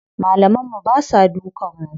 Malaman mu basa dukan mu.